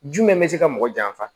Jumɛn bɛ se ka mɔgɔ janfa